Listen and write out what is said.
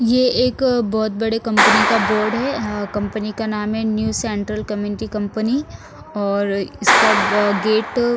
ये एक बहुत बड़े कंपनी का बोर्ड है अ कंपनी का नाम है न्यू सेंट्रल कम्यूनिटी कंपनी और इसका अ गेट --